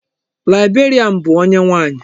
Librarian bụ onye nwaanyi.